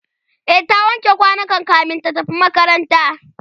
e ta wanke kwanukan kamin ta tafi makaranta